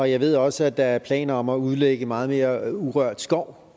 jeg ved også at der er planer om at udlægge meget mere urørt skov